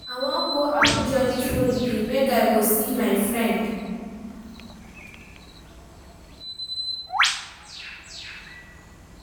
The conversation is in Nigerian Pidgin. I wan go Abuja dis holiday make I go see my friend.